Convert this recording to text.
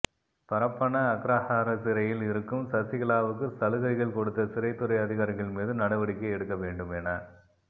பரப்பன அக்ரஹார சிறையில் இருக்கும் சசிகலாவுக்கு சலுகைகள் கொடுத்த சிறைத்துறை அதிகாரிகள் மீது நடவடிக்கை எடுக்க வேண்டும் என